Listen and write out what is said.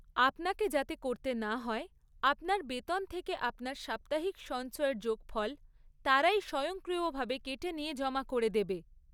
আপনাকে যাতে করতে না হয়, আপনার বেতন থেকে আপনার সাপ্তাহিক সঞ্চয়ের যোগফল তারাই স্বয়ংক্রিয়ভাবে কেটে নিয়ে জমা করে দেবে।